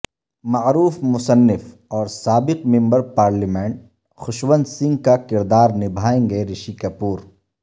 معروف مصنف اورسابق ممبر پارلیمنٹ خشونت سنگھ کا کردار نبھائیں گے رشی کپور